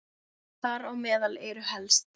Þar á meðal eru helst